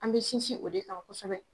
An bɛ sinsin o de kan kosɛbɛ